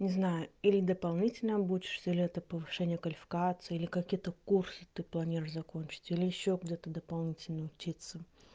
не знаю или дополнительно обучишься или это повышение квалификации или какие-то курсы ты планируешь закончить или ещё где-то дополнительно учится